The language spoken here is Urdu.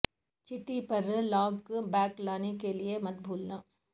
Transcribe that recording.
چھٹی پر لاگ بک لانے کے لئے مت بھولنا